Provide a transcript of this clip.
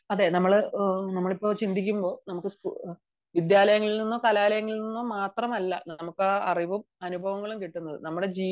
അതെ നമ്മളിപ്പോൾ ചിന്തിക്കുമ്പോൾ വിദ്യാലയങ്ങളിൽ നിന്നും കലാലയങ്ങളിൽ നിന്നും മാത്രമല്ല അറിവും അനുഭവവും കിട്ടുന്നത്